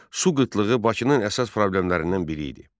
Su qıtlığı Bakının əsas problemlərindən biri idi.